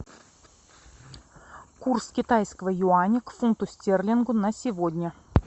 курс китайского юаня к фунту стерлингу на сегодня